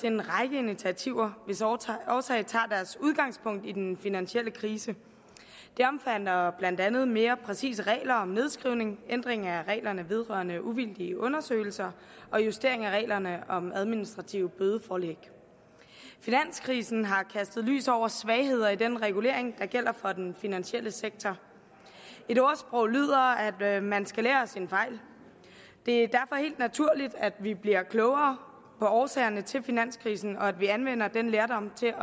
en række initiativer hvis årsag årsag tager deres udgangspunkt i den finansielle krise det omhandler blandt andet mere præcise regler om nedskrivning ændring af reglerne vedrørende uvildige undersøgelser og justering af reglerne om administrative bødeforelæg finanskrisen har kastet lys over svagheder i den regulering der gælder for den finansielle sektor et ordsprog lyder at man skal lære af sine fejl det er derfor helt naturligt at vi bliver klogere på årsagerne til finanskrisen og at vi anvender den lærdom til